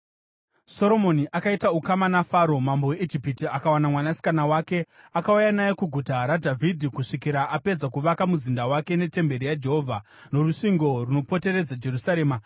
Soromoni akaita ukama naFaro, mambo weIjipiti akawana mwanasikana wake. Akauya naye kuGuta raDhavhidhi kusvikira apedza kuvaka muzinda wake netemberi yaJehovha, norusvingo runopoteredza Jerusarema.